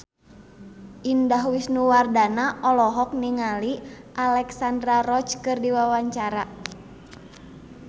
Indah Wisnuwardana olohok ningali Alexandra Roach keur diwawancara